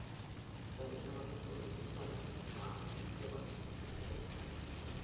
Ore enchumata olkilikuai na enetipat tenkiremore